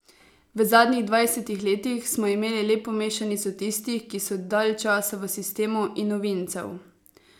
V zadnjih dvajsetih letih smo imeli lepo mešanico tistih, ki so dalj časa v sistemu, in novincev.